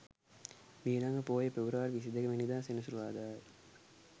මීළඟ පෝය පෙබරවාරි 22 වැනි දා සෙනසුරාදා ය.